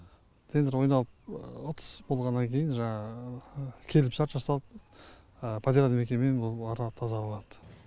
тендер ойналып ұтыс болғаннан кейін жаңағы келісімшарт жасалып подряд мекеме болып арқылы тазаланады